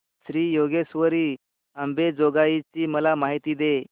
श्री योगेश्वरी अंबेजोगाई ची मला माहिती दे